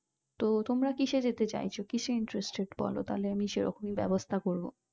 তো তোমরা কিসে যেতে চাইছো কিসে interested বোলো তাহলে আমি সেরকম ব্যবস্থা করবো